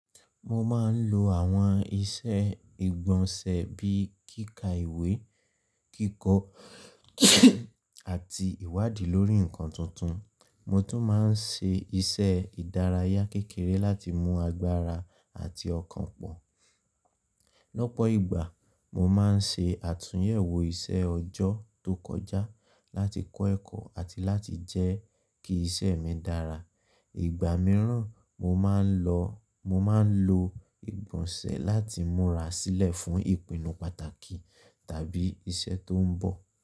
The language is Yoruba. Mo máa ń lo àwọn iṣẹ́ ìgbọ̀nsẹ̀ bí i kíkà ìwé, kíkọ, àti ìwádìí lórí nǹkan tuntun. Mo tún máa ń ṣe iṣẹ́ ìdárayá kékeré láti mú agbára àti ọkàn pọ̀. Lọ́pọ̀ ìgbà, mo máa ń ṣe àtúnyẹ̀wò iṣẹ́ ọjọ́ tó kọjá láti kọ́ ẹ̀kọ́ àti láti jẹ́ kí iṣẹ́ mi dára. Ìgbà mìíràn, mo máa ń lo ìgbọ̀nsẹ̀ láti múra sílẹ̀ fún ìpinnu pàtàkì tàbí iṣẹ́ tó ń bọ̀.